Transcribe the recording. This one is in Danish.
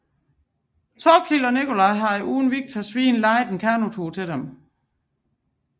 Thorkild og Nikolaj har uden Viktors viden lejet en kanotur til dem